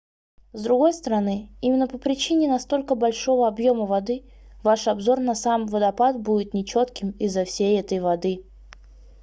с другой стороны именно по причине настолько большого объёма воды ваш обзор на сам водопад будет нечётким из-за всей этой воды